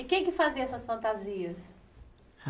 E quem é que fazia essas fantasias?